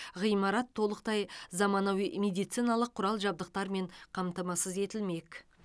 ғимарат толықтай заманауи медициналық құрал жабдықтармен қамтамасыз етілмек